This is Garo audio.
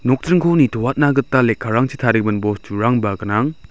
nokjringko nitoatna gita lekkarangchi tarigimin bosturangba gnang.